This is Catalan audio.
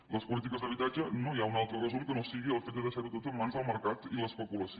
a les polítiques d’habitatge no hi ha un altre resum que no sigui el fet de deixar ho tot en mans del mercat i l’especulació